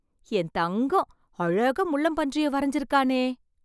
என் தங்கம், அழகா முள்ளம்பன்றியை வரைஞ்சிருக்கானே...